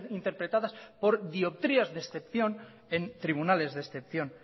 interpretadas por dioptrías de excepción en tribunales de excepción